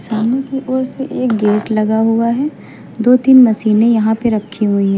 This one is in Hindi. सामने की ओर से एक गेट लगा हुआ है दो तीन मशीनें यहां पे रखी हुई हैं।